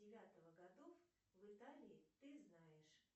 девятого годов в италии ты знаешь